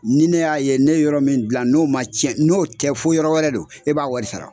Ni ne y'a ye ne yɔrɔ min dilan n'o ma tiɲɛ n'o tɛ fo yɔrɔ wɛrɛ don, e b'a wɔri sara.